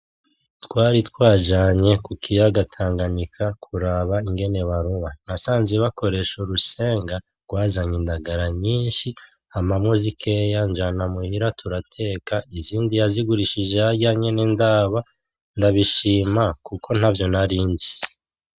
Twari twajanye ku kiyaga tanganyika kuraba ingene baroba, nasanze bakoresha urusenga rwazanye indagala nyinshi, ampamwo zikeya njana muhira turateka, izindi yazigurishije harya nyene ndaba, ndabishima kuko ntavyo narinzi.